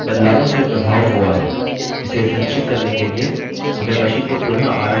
scim के बदलावों से प्रभाव हुआ है इसे सुनिश्चित करने के लिए हमें machine को पुनः आरंभ करना होगा